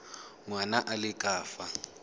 ngwana a le ka fa